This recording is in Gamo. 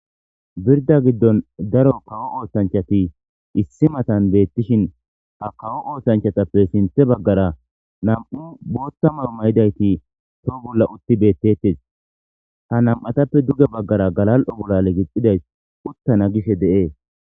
Birda giddon daro kawo ooshanchati issi matan beettishin ha kawo oosanchatappe sinthe baggara nam'u bootta mao mayidayti too bolla utti beettettes ha nam'atappe duge baggara galal'o bolale gixxidays uttana gishe de'ee